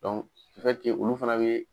olu fɛnɛ be